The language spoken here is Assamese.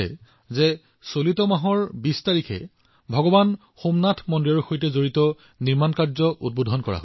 আপোনাৰ মনত আছে যে এই মাহৰ ২০ তাৰিখে ভগৱান সোমনাথ মন্দিৰৰ সৈতে সম্পৰ্কিত নিৰ্মাণ কাৰ্য উৎসৰ্গা কৰা হৈছে